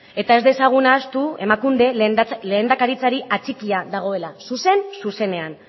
eta ez dezagun ahaztu emakundek lehendakaritzari atxikia dagoela zuzen zuzenean